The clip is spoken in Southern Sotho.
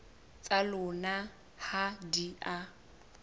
tsa lona ha di a